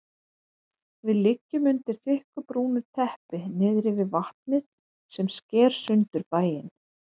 Við liggjum undir þykku brúnu teppi niðri við vatnið sem sker sundur bæinn.